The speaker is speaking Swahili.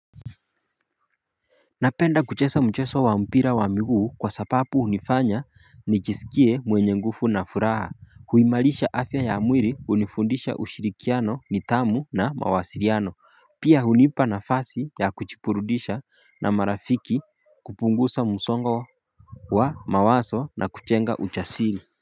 Napenda kuchesa mcheso wa mpira wa miguu kwa sapapu unifanya nichisikie mwenye nguvu na furaha Huimalisha afya ya mwili unifundisha ushirikiano nitamu na mawasiriano Pia hunipa na fasi ya kuchipurudisha na marafiki kupungusa musongo wa mawaso na kuchenga uchasiri.